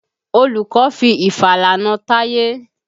Olùkọ́ fi ìfàlà na Táyé.